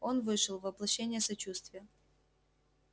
он вышел воплощение сочувствия